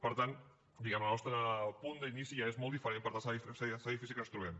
per tant diguem ne el nostre punt d’inici ja és molt diferent per tant serà difícil que ens trobem